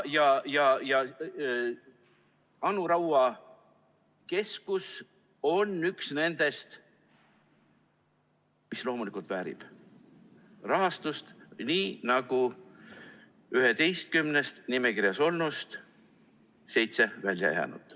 Anu Raua keskus on üks nendest, mis loomulikult väärib rahastust, nii nagu kõik seitse 11‑st, kes välja jäid.